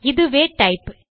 இதுவே டைப்